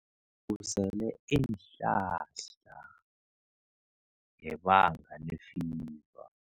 Usele iinhlahla ngebanga lefiva.